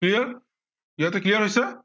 clear ইয়াতে clear হৈছে।